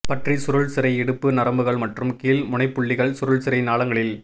பற்றி சுருள் சிரை இடுப்பு நரம்புகள் மற்றும் கீழ் முனைப்புள்ளிகள் சுருள் சிரை நாளங்களில்